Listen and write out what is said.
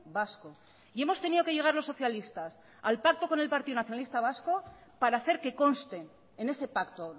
vasco y hemos tenido que llegar los socialistas al pacto con el partido nacionalista vasco para hacer que consten en ese pacto